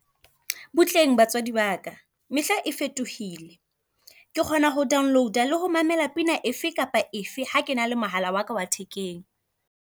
Butleng batswadi baka, mehla e fetohile. Ke kgona ho download-a le ho mamela pina efe kapa efe ha ke na le mohala waka wa thekeng.